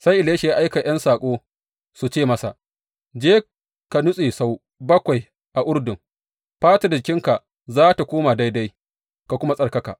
Sai Elisha ya aika ’yan saƙo su ce masa, Je, ka nutse sau bakwai a Urdun, fatar jikinka za tă koma daidai, ka kuma tsarkaka.